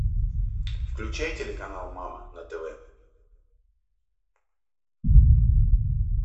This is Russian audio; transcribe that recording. включай телеканал мама на тв